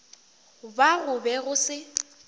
ba go be go se